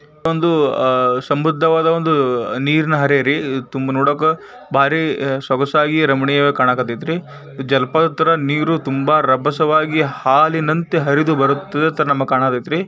ಇದು ಒಂದು ಅಹ್ ಸಮೃದ್ಧವಾದ ಒಂದು ನೀರಿನ ಹರೆಹರಿ. ತುಂಬ ನೋಡಕ್ಕ ಭಾರಿ ಸೊಗಸಾಗಿ ರಮಣಿಯಾಗಿ ಕಾಣಾಕತೈತಿರೀ. ಜಲಪಾತದ ನೀರು ತುಂಬಾ ರಭಸವಾಗಿ ಹಾಲಿನಂತೆ ಹರಿದು ಬರುತ್ತೆ ನಮಗ್ ಕಾನಾತೇತ್ ರೀ.